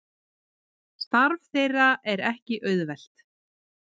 Starf þeirra er ekki auðvelt